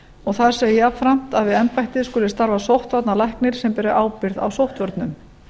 og þar segir jafnframt að við embættið skuli starfa sóttvarnalæknir sem beri ábyrgð á sóttvörnum